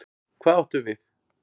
Hvað áttu við?